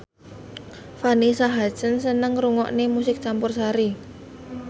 Vanessa Hudgens seneng ngrungokne musik campursari